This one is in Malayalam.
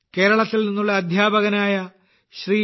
കേരളത്തിൽ നിന്നുള്ള അധ്യാപകനായ ശ്രീ